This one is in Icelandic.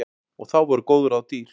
Og þá voru góð ráð dýr.